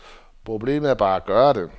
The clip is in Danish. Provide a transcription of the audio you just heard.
Problemet er bare at gøre det.